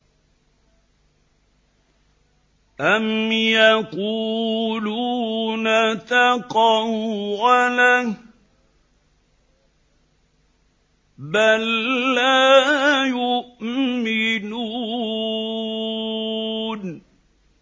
أَمْ يَقُولُونَ تَقَوَّلَهُ ۚ بَل لَّا يُؤْمِنُونَ